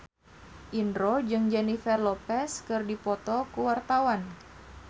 Indro jeung Jennifer Lopez keur dipoto ku wartawan